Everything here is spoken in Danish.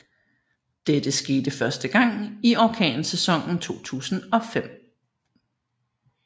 Dette skete første gang i orkansæsonen 2005